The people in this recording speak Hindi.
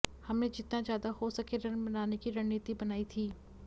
हमने जितना ज्यादा हो सके रन बनाने की रणनीति बनाई थी